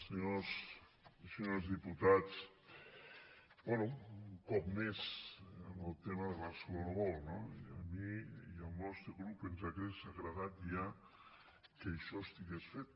senyors i senyores diputats bé un cop més el tema de barcelona world no i a mi i al nostre grup ens hauria agradat ja que això estigués fet